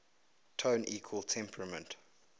tone equal temperament